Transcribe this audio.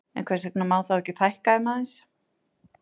En hvers vegna má þá ekki fækka þeim aðeins?